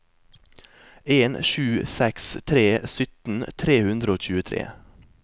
en sju seks tre sytten tre hundre og tjuetre